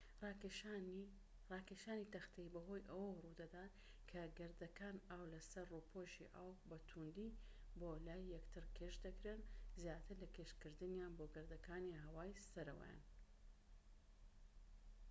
راکێشانی تەختەیی بەهۆی ئەوە روودەدات کە گەردەکان ئاو لە سەر ڕووپۆشی ئاو بە تووندی بۆ لای یەکتر کێش دەکرێن زیاتر لە کێشکردنیان بۆ گەردەکانی هەوای سەرەوەیان